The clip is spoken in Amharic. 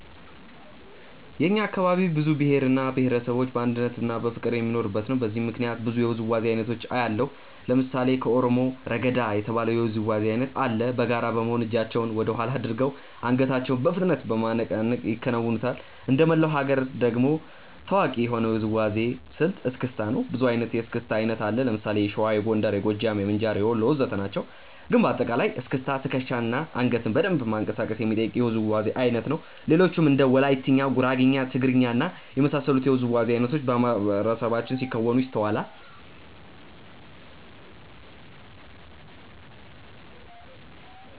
የእኛ አካባቢ ብዙ ብሄር እና ብሄረሰቦች በአንድነትና በፍቅር የሚኖሩበት ነው። በዚህም ምክንያት ብዙ የውዝዋዜ አይነቶችን አያለሁ። ለምሳሌ ከኦሮሞ "ረገዳ" የተባለ የውዝዋዜ አይነት አለ። በጋራ በመሆን እጃቸውን ወደኋላ አድርገው አንገታቸውን በፍጥነት በማነቃነቅ ይከውኑታል። እንደመላው ሀገር ደግሞ ታዋቂ የሆነው የውዝዋዜ ስልት "እስክስታ" ነው። ብዙ አይነት የእስክስታ አይነት አለ። ለምሳሌ የሸዋ፣ የጎንደር፣ የጎጃም፣ የምንጃር፣ የወሎ ወዘተ ናቸው። ግን በአጠቃላይ እስክስታ ትከሻን እና አንገትን በደንብ ማንቀሳቀስ የሚጠይቅ የውዝዋዜ አይነት ነው። ሌሎችም እንደ ወላይትኛ፣ ጉራግኛ፣ ትግርኛ እና የመሳሰሉት የውዝዋዜ አይነቶች በማህበረሰባችን ሲከወኑ ይስተዋላል።